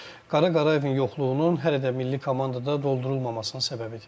Qara Qarayevin yoxluğunun hələ də milli komandada doldurulmamasına səbəbidir.